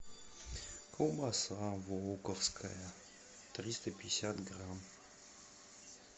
колбаса волковская триста пятьдесят грамм